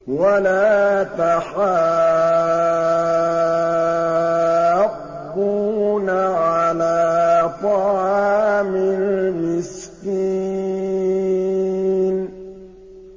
وَلَا تَحَاضُّونَ عَلَىٰ طَعَامِ الْمِسْكِينِ